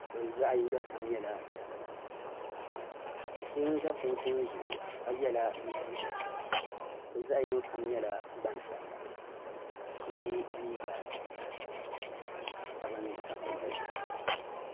ka bi zaɣi yiniga kam yɛla dabiba do so n za kum kuni zuɣu ka yiɛla liiga piɛlli bi zaɣi yino kam yɛla gbaŋ sabila ka so yiɛ liiga sabinli ka pili la zupiligu.